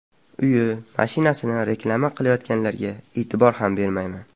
Uyi, mashinasini reklama qilayotganlarga e’tibor ham bermayman.